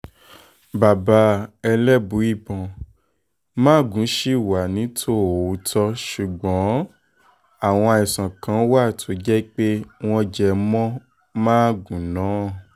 bàbá elébùíbọn magun ṣì wà nítòótọ́ ṣùgbọ́n àwọn àìsàn kan wà tó jẹ́ pé wọ́n jẹ mọ́ gungun náà